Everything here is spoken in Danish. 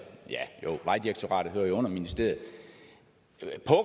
for vejdirektoratet hører jo under ministeriet